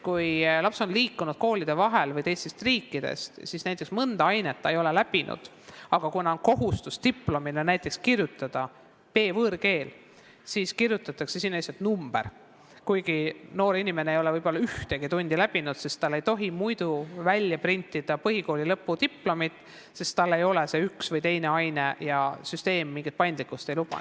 Kui laps on liikunud koolide vahel või tulnud teisest riigist, siis ta näiteks mõnda ainet ei ole õppinud, aga kuna on kohustus diplomile kirjutada B-võõrkeele hinne, siis kirjutatakse sinna lihtsalt number, kuigi noor inimene ei ole võib-olla üheski tunnis käinud, aga talle ei tohi muidu printida põhikooli lõpudiplomit, süsteem mingit paindlikkust ei luba.